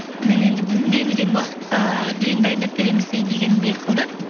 мен енді берілген уақытқа дейін дайындап береміз дегендей қылды